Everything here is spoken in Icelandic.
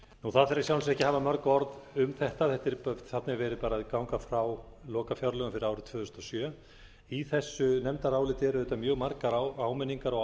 það þarf í sjálfu sér ekki að hafa mörg orð um þetta þarna er verið að ganga frá lokafjárlögum fyrir árið tvö þúsund og sjö í þessu nefndaráliti eru auðvitað mjög margar áminningar og